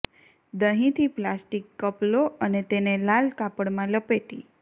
દહીંથી plastic cup લો અને તેને લાલ કાપડમાં લપેટી